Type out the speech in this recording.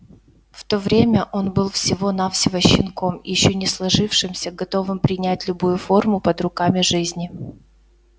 в то время он был всего навсего щенком ещё не сложившимся готовым принять любую форму под руками жизни